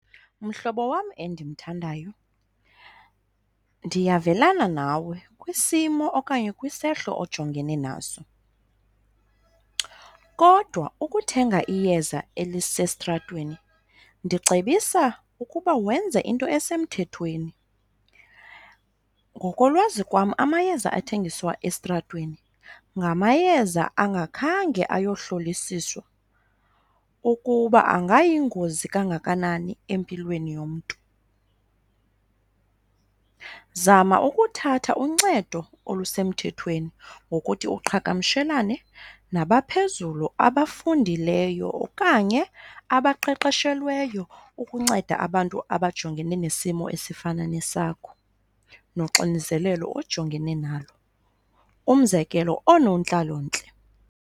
Mhlobo wam endimthandayo, ndiyavelana nawe kwisimo okanye kwisehlo ojongene naso, kodwa ukuthenga iyeza elisestratweni ndicebisa ukuba wenze into esemthethweni. Ngokolwazi kwam amayeza athengiswa estratweni ngamayeza angakhange ayohlolisiswa ukuba angayingozi kangakanani empilweni yomntu. Zama ukuthatha uncedo olusemthethweni ngokuthi uqhagamshelane nabaphezulu abafundileyo okanye abaqeqeshelweyo ukunceda abantu abajongene nesimo esifana nesakho noxinzelelo ojongene nalo, umzekelo oonontlalontle.